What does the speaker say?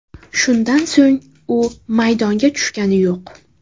Shundan so‘ng u maydonga tushgani yo‘q.